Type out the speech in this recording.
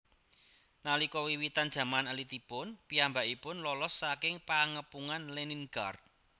Nalika wiwitan jaman alitipun piyambakipun lolos saking Pengepungan Leningrad